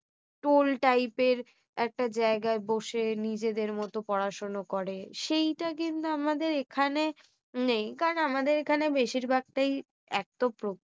Toll টাইপের একটা জায়গায় বসে নিজেদের মতো পড়াশোনা করে। সেইটা কিন্তু আমাদের এখানে নেই কারণ আমাদের এখানে বেশিরভাগই একটা প্রকৃতি